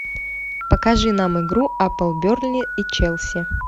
покажи нам игру апл бернли и челси